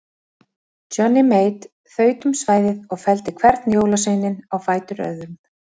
Johnny Mate þaut um svæðið og felldi hvern jólaveininn á fætur öðrum.